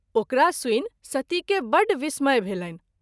ओकरा सुनि सती के बड विस्मय भेलनि।